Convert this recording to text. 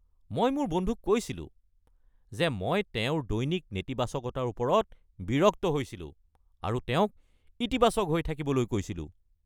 মই মোৰ বন্ধুক কৈছিলো যে মই তেওঁৰ দৈনিক নেতিবাচকতাৰ ওপৰত বিৰক্ত হৈছিলো আৰু তেওঁক ইতিবাচক হৈ থাকিবলৈ কৈছিলো।